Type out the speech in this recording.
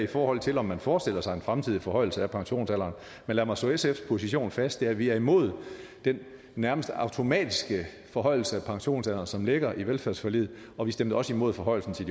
i forhold til om man forestiller sig en fremtidig forhøjelse af pensionsalderen men lad mig slå sfs position fast den er at vi er imod den nærmest automatiske forhøjelse af pensionsalderen som ligger i velfærdsforliget og vi stemte også imod forhøjelsen til